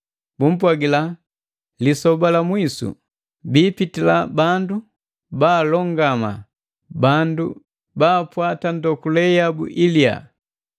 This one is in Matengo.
Bumpwagila: “Lisoba la mwisu, biipitila bandu baalongama, bandu baapwata ndokule yabu iliya.”